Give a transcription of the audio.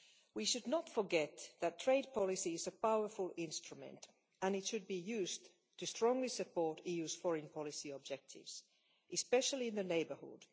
We should not forget that trade policy is a powerful instrument and should be used to strongly support the EU's foreign policy objectives, especially in the neighbourhood.